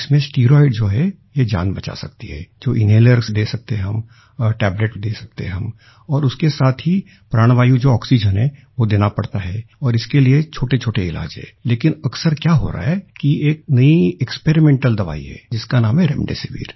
इसमें स्टीरॉइड्स जो है ये जान बचा सकती है जो इनहेलर्स दे सकते हैं टेबलेट हम और दे सकते हैं हम और उसके साथ ही प्राणवायु जो आक्सीजेन है वो देना पड़ता है और इसके लिए छोटेछोटे इलाज़ है लेकिन अक्सर क्या हो रहा है कि एक नई एक्सपेरिमेंटल दवाई है जिसका नाम है रेमडेसिविर